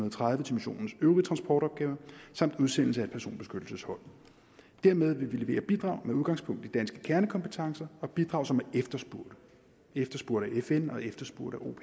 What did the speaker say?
og tredive til missionens øvrige transportopgaver samt udsendelse af et personbeskyttelseshold dermed vil vi levere bidrag med udgangspunkt i danske kernekompetencer og bidrag som er efterspurgte af fn og efterspurgt